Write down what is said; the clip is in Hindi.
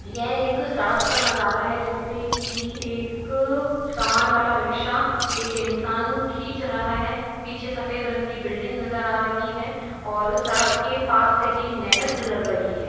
यह एक सड़क का नजारा है जिसपे कि एक सामान वाला रिक्शा एक इन्सान खींच रहा है। पीछे सफ़ेद रंग की बिल्डिंग नजर आ रही है और सड़क के पास से ही नहर गुजर रही है।